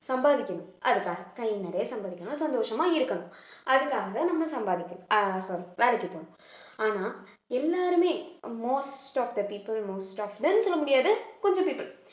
சம்பாதிக்கணும் அதுக்காக கை நிறைய சம்பாதிக்கணும் சந்தோஷமா இருக்கணும் அதுக்காக நம்ம சம்பாதிக்கணும் அஹ் வேலைக்கு போகணும் ஆனா எல்லாருமே most of the people most of the ன்னு சொல்ல முடியாது கொஞ்சம் people